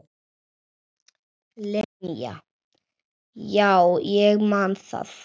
Linja, já ég man það.